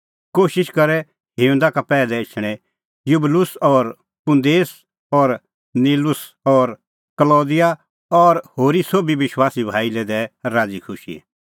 कोशिश करै हिंऊंदा का पैहलै एछणें युबलुस और पुंदेस और लीनुस और कलौदिआ और होरी सोभी विश्वासी भाई लै दैऐ राज़ीखुशी